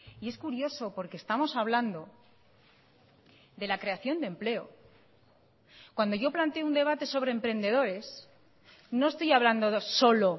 y es curioso porque estamos hablando de la creación de empleo cuando yo planteo un debate sobre emprendedores no estoy hablando solo